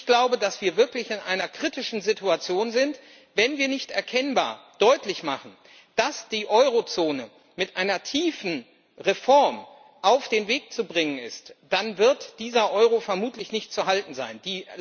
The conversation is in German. Ich glaube, dass wir wirklich in einer kritischen Situation sind, wenn wir nicht erkennbar deutlich machen, dass die Eurozone mit einer tiefen Reform auf den Weg zu bringen ist, dann wird dieser Euro vermutlich nicht zu halten sein.